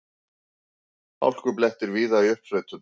Hálkublettir víða í uppsveitum